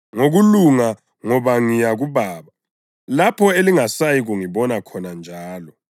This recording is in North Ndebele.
ngokulunga, ngoba ngiya kuBaba, lapho elingasayi kungibona khona njalo;